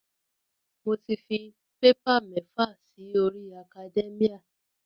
Mo ti fi paper mẹ́fà si orí academia.